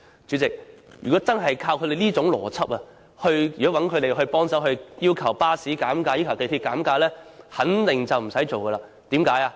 主席，如果用他們這種邏輯，找他們幫忙要求巴士公司或港鐵公司減價便肯定不成事，為甚麼呢？